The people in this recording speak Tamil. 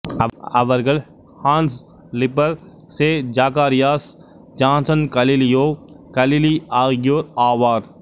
அவர்கள் Hans Lipperhey Zacharias Janssen Galileo Galilei ஆகியோர் ஆவார்